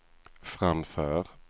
framför